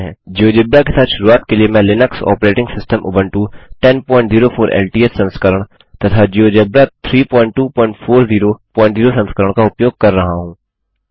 GeoGebra के साथ शुरूआत के लिए मैं Linux operating system Ubuntu 1004 LTS संस्करण तथा जियोजेब्रा 32400 संस्करण का उपयोग कर रहा हूँ